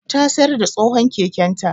Ta sayar da tsohon keken ta